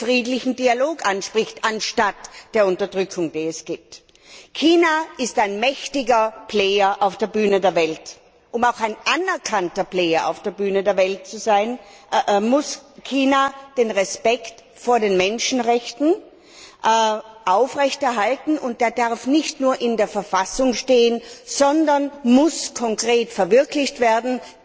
B. den friedlichen Dialog anstatt der herrschenden Unterdrückung anspricht. China ist ein mächtiger Player auf der Bühne der Welt. Um auch ein anerkannter Player auf der Bühne der Welt zu sein, muss China die Achtung der Menschenrechte aufrechterhalten, und diese darf nicht nur in der Verfassung stehen, sondern muss konkret verwirklicht werden.